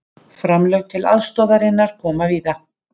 Framlög til aðstoðarinnar koma víða